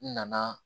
N nana